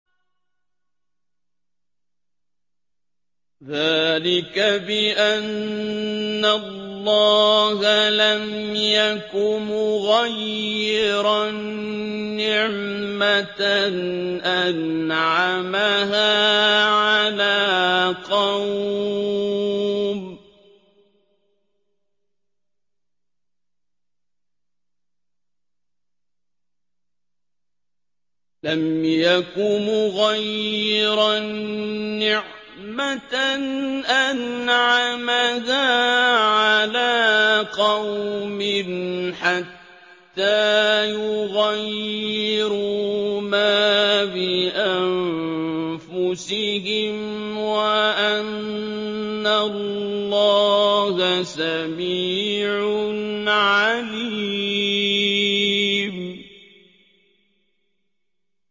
ذَٰلِكَ بِأَنَّ اللَّهَ لَمْ يَكُ مُغَيِّرًا نِّعْمَةً أَنْعَمَهَا عَلَىٰ قَوْمٍ حَتَّىٰ يُغَيِّرُوا مَا بِأَنفُسِهِمْ ۙ وَأَنَّ اللَّهَ سَمِيعٌ عَلِيمٌ